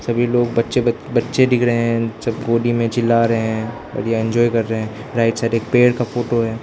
सभी लोग बच्चे बच्चे दिख रहे हैं जब गोदी में चिल्ला रहे हैं एंजॉय कर रहे हैं राइट साइड एक पेड़ का फोटो है।